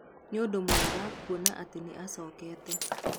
Na nĩ ũndũ mwega kuona atĩ nĩ acokete".